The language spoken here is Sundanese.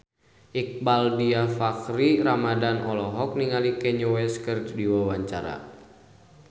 Iqbaal Dhiafakhri Ramadhan olohok ningali Kanye West keur diwawancara